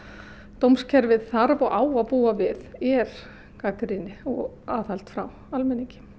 dómskerfið þarf og á að búa við er gagnrýni og aðhald frá almenningi